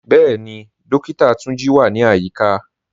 Bẹẹ̀ni, Dókìtà Túnjí wà ní ayíkà.